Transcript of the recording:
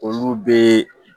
Olu bɛ